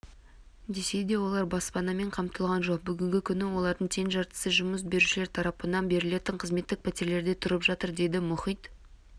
десе де олар баспанамен қамтылған жоқ бүгінгі күні олардың тең жартысы жұмыс берушілер тарапынан берілетін қызметтік пәтерлерде тұрып жатыр дейді мұхит